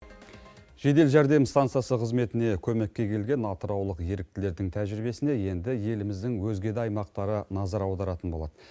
жедел жәрдем стансасы қызметіне көмекке келген атыраулық еріктілердің тәжірибесіне енді еліміздің өзге да аймақтары назар аударатын болады